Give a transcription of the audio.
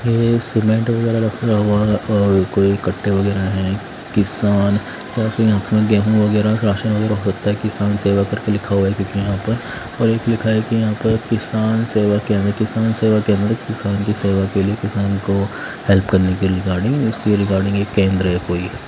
ये सीमेंट वगैरह रखा हुआ है और कोई कट्टे वगैरह हैं किसान गेहूँ वगैरह राशन वगैरह होता है किसान सेवा करके लिखा हुआ है क्योंकि यहाँ पर और एक लिखा है कि यहाँ पर किसान सेवा केंद्र किसान सेवा केंद्र किसान की सेवा के लिए किसान को हेल्प करने के रिगार्डिंग इसके रिगार्डिंग ये केंद्र है कोई।